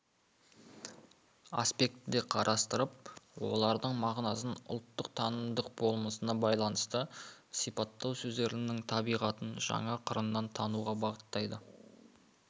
аспектіде қарастырып олардың мағынасын ұлттық танымдық болмысына байланысты сипаттау сөздердің табиғатын жаңа қырынан тануға бағыттайды